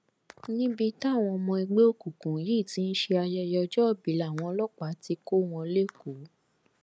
níbi táwọn ọmọ ẹgbẹ òkùnkùn yìí ti ń ṣe ayẹyẹ ọjọòbí làwọn ọlọpàá ti kọ wọn lẹkọọ